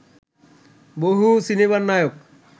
বহু সিনেমার নায়ক